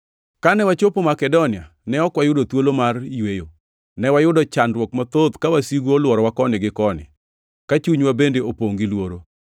Kane wachopo Makedonia, ne ok wayudo thuolo mar yweyo. Ne wayudo chandruok mathoth ka wasigu olworowa koni gi koni; ka chunywa bende opongʼ gi luoro.